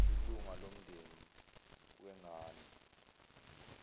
ilunga lomndeni wengane